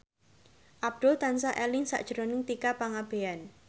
Abdul tansah eling sakjroning Tika Pangabean